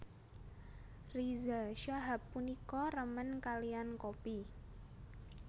Riza Shahab punika remen kaliyan kopi